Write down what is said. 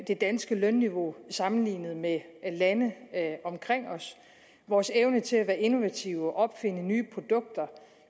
det danske lønniveau sammenlignet med lande omkring os vores evne til at være innovative og opfinde nye produkter